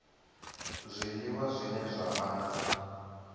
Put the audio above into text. zwiliwa zwine zwa vha na